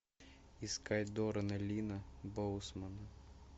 искать доррена линна боусмана